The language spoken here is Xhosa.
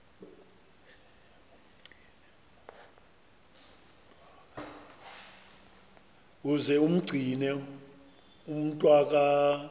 uze umgcine umntwaka